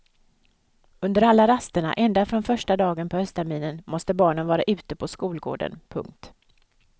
Under alla rasterna ända från första dagen på höstterminen måste barnen vara ute på skolgården. punkt